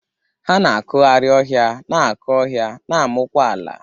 Ha na-akụgharị ọhịa, na-akụ ọhịa, na-amụkwa ala.